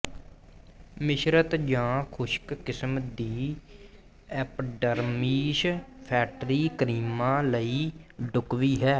ਮਿਸ਼ਰਤ ਜਾਂ ਖੁਸ਼ਕ ਕਿਸਮ ਦੀ ਐਪੀਡਰਮੀਸ ਫੈਟਰੀ ਕਰੀਮਾਂ ਲਈ ਢੁਕਵੀਂ ਹੈ